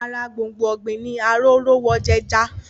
Ara gbòngbò ọ̀gbìn ní Arórówojẹja